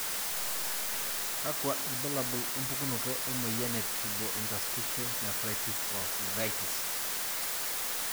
kakwa ilbulabul opukunoto emoyian e Tubulointerstitial nephritis o uveitis?